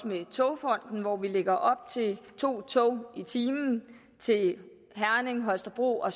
med togfonden dk hvor vi lægger op til to tog i timen til herning holstebro og